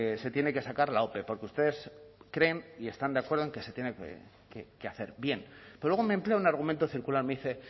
se tiene que sacar la ope porque ustedes creen y están de acuerdo en que se tiene que hacer bien pero luego me emplea un argumento circular me dice